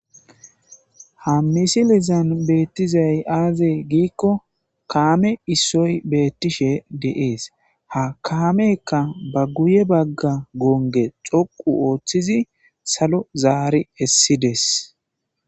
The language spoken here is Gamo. ha misilizan beettizay aaze giikko kaame issoy beettishe de'ees ha kaamekka ba guye bagga goonge xoqu ooththizi salo zaari essides